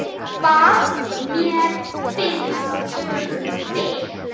Hvað mér finnst um þig?